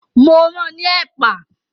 Mo ran ní ẹ̀pà